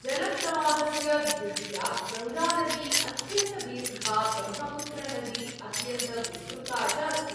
जलप्रवाहस्य दृष्ट्या गङ्गानदी अत्यन्तदीर्घा ब्रह्मपुत्रनदी अत्यन्तविस्तृता च अस्ति।